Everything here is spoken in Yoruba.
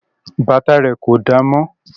Bàtà rẹ̀ kò damọ́